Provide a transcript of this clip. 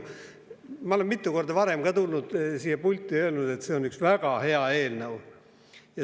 Ma olen mitu korda varem ka siia pulti tulnud, et öelda, et see on üks väga hea eelnõu.